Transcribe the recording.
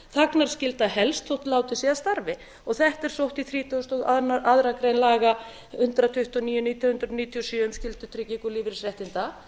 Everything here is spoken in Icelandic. þagnarskylda helst þótt látið sé af starfi þetta er sótt í þrítugasta og aðra grein laga hundrað tuttugu og níu nítján hundruð níutíu og sjö um skyldutryggingu lífeyrisréttinda